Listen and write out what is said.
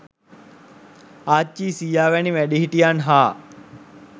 ආච්චී සීයා වැනි වැඩිහිටියන් හා